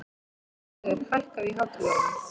Dagheiður, hækkaðu í hátalaranum.